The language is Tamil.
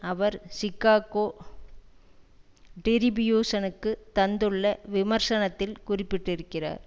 அவர் சிக்காகோ டிரிபியூசனுக்கு தந்துள்ள விமர்சனத்தில் குறிப்பிட்டிருக்கிறார்